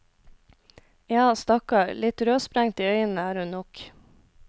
Ja, stakkar, litt rødsprengt i øynene er hun nok.